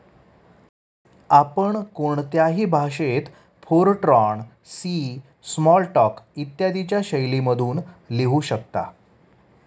आपण कोणत्याही भाषेत फोरट्रॉन, सी, स्मॉलटॉक, इत्यादीच्या शैलीमधून लिहू शकता.